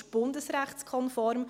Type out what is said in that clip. Diese ist bundesrechtskonform.